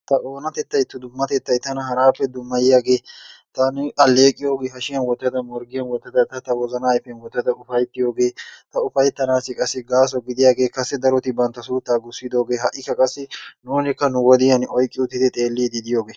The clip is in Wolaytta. ta oonatettay ta dummatettay tana haraappe dummayiyaagee taani alleeqiyoogee hashiyan wottada morggiyan wottada ta tawozanaa ayifiyan wottada ufayittiyoogee ta ufayittanaassi qassi gaaso gidaagee kase daroti bantta suuttaa gussidoogee ha"ikka qassi nuunikka nu wodiyaani oyiqqi uttidi xeelliiddi diyoogee.